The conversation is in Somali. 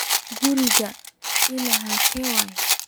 Garigan ila halke waye?